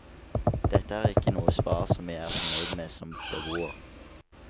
Dette er ikke noe svar som jeg er fornøyd med som beboer.